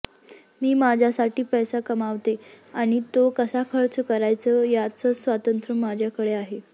मी माझ्यासाठी पैसा कमावते आणि तो कसा खर्च करायचा याचं स्वातंत्र्य माझ्याकडे आहे